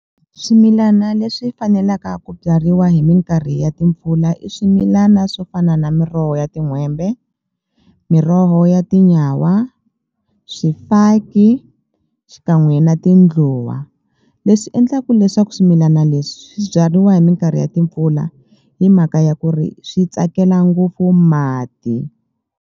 Swimilana leswi fanelaka ku byariwa hi minkarhi ya timpfula i swimilana swo fana na miroho ya tin'hwembe miroho ya tinyawa swifaki xikan'we na tindluwa leswi endlaku leswaku swimilana leswi swi byariwa hi minkarhi ya timpfula hi mhaka ya ku ri swi tsakela ngopfu mati.